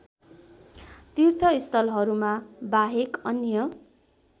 तीर्थस्थलहरूमा बाहेक अन्य